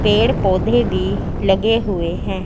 पेड़-पोधै भी लगे हुए है।